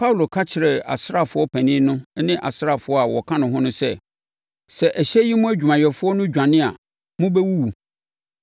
Paulo ka kyerɛɛ asraafoɔ panin no ne asraafoɔ a wɔka ne ho no sɛ, “Sɛ ɛhyɛn yi mu adwumayɛfoɔ no dwane a, mobɛwuwu.”